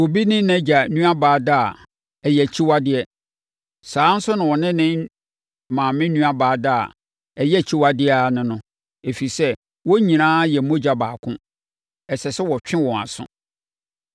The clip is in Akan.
“ ‘Sɛ obi ne nʼagya nuabaa da a, ɛyɛ akyiwadeɛ. Saa ara nso na ɔne ne maame nuabaa da a, ɛyɛ akyiwadeɛ ara ne no, ɛfiri sɛ, wɔn nyinaa yɛ mogya baako. Ɛsɛ sɛ wɔtwe wɔn aso.